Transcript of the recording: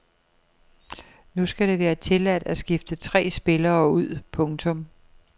Nu skal det være tilladt at skifte tre spillere ud. punktum